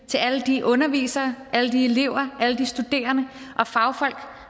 til alle de undervisere alle de elever alle de studerende og fagfolk